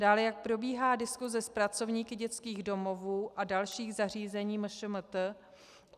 Dále, jak probíhá diskuse s pracovníky dětských domovů a dalších zařízení MŠMT.